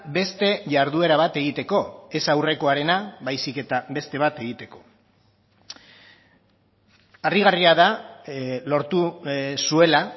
beste jarduera bat egiteko ez aurrekoarena baizik eta beste bat egiteko harrigarria da lortu zuela